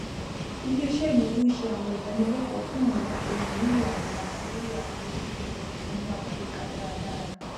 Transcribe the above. iléiṣẹ ìnáwó ń ṣe àwọn ìdánilẹkọọ fún àwọn olùmúlò àgbàlagbà lórí àwọn irú ẹrọ ìsanwó alágbèéká dáradára